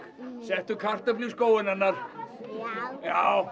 settu kartöflu í skóinn hennar já